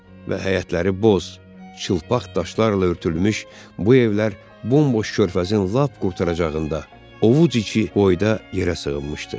Və həyətləri boz, çılpaq daşlarla örtülmüş bu evlər bomboş körfəzin lap qurtaracağında ovuc içi boyda yerə sığınmışdı.